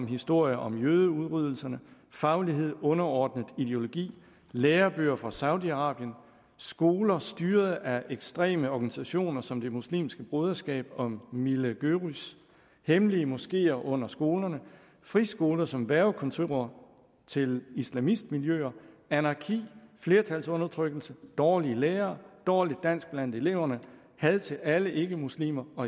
historier om jødeudryddelserne faglighed underordnet ideologi lærebøger fra saudi arabien skoler styret af ekstreme organisationer som det muslimske broderskab og millî görüş hemmelige moskeer under skolerne friskoler som hvervekontorer til islamistmiljøer anarki flertalsundertrykkelse dårlige lærere dårligt dansk blandt eleverne had til alle ikkemuslimer og